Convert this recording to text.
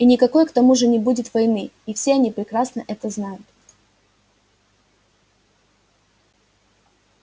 и никакой к тому же не будет войны и все они прекрасно это знают